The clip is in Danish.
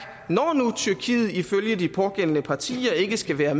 når nu tyrkiet ifølge de pågældende partier ikke skal være